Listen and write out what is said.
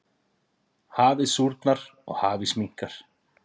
Hafið súrnar og hafís minnkar.